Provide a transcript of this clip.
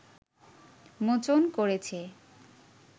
মোচন করেছে